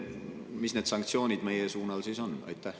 Mis need sanktsioonid meie suunal siis on?